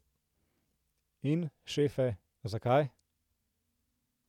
In, šefe, zakaj?